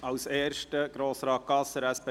Ich erteile Grossrat Gasser das Wort.